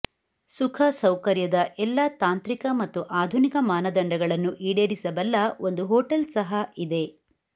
ಸುಖಸೌಕರ್ಯದ ಎಲ್ಲಾ ತಾಂತ್ರಿಕ ಮತ್ತು ಆಧುನಿಕ ಮಾನದಂಡಗಳನ್ನು ಈಡೇರಿಸಬಲ್ಲ ಒಂದು ಹೋಟೆಲ್ ಸಹ ಇದೆ